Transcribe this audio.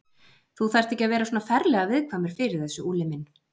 Þú þarft ekki að vera svona ferlega viðkvæmur fyrir þessu, Úlli minn.